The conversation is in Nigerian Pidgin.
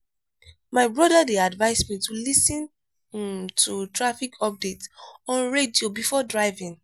my brother dey advise me to lis ten um to traffic updates on radio before driving.